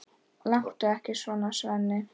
Láttu ekki svona, Svenni.